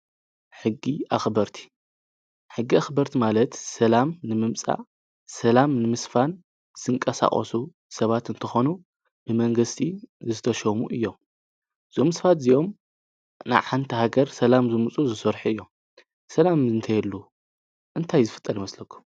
ሕጊ ኣኽበርቲ ሕጊ ኣኽበርቲ ማለት ሰላም ንምምፃእ ሰላም ንምስፋን ዝንቀሳቐሱ ሰባት እንትኾኑ ብመንግስቲ ዝተሾሙ እዮም። እዞም ሰባት እዚኦም ናይ ሓንቲ ሃገር ሰላም ከምፅኡ ዝሰርሑ እዮም። ሰላም ተዘይህሉ እንታይ ዝፍጠር ይመስለኩ?